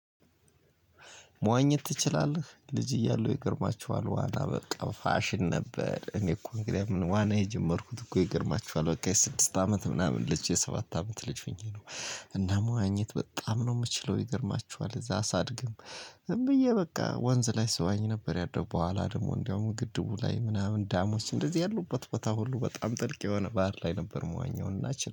መዋኘት ትችላለህ ልጅ እያለሁ ይገርማችኋል ዋና በቃ ፋሽን ነበር እኔ እኮ እንግዲህ ምን ዋና የጀመርኩት እኮ ይገርማችኋል በቃ የስድስት አመት ምናምን ልጅ የሰባት አመት ልጅ ሆኜ ነው። እና መዋኘት በጣም ነው የምችለው ይገርማችኋል። እዛ ሳድግም ዝም ብዬ በቃ ወንዝ ላይ ስዋኝ ነበር ያደኩት። በኋላ ደግሞ እንደውም ግድቡ ላይ ምናምን ዳሞች እንደዚህ ያሉበት ቦታ ሁሉ በጣም ጥልቅ የሆነ ባህር ላይ ነበር። የምዋኘው